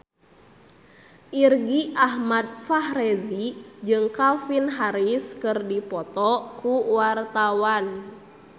Irgi Ahmad Fahrezi jeung Calvin Harris keur dipoto ku wartawan